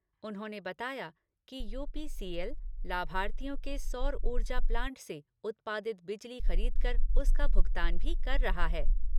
उन्होंने बताया कि यूपीसीएल, लाभार्थियों के सौर उर्जा प्लांट से उत्पादित बिजली खरीद कर उसका भुगतान भी कर रहा है।